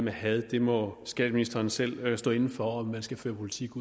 had må skatteministeren selv stå inde for om man skal føre politik